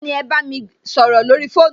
Béèni, mà á bámi ẹ sọrọ lórí fóònù